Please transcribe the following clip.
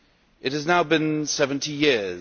It has now been 70 years.